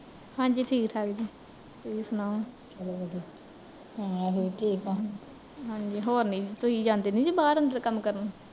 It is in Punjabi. ਹਾਂਜੀ ਠੀਕ ਠਾਕ ਜੀ, ਤੁਸੀਂ ਸੁਣਾਓ ਹਾਂਜੀ ਹੋਰ ਨੀ, ਤੁਸੀਂ ਜਾਂਦੇ ਨੀ ਜੇ ਕਿਤੇ ਬਾਹਰ ਅੰਦਰ ਕੰਮ ਕਰਨ